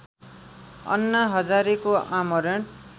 अन्ना हजारेको आमरण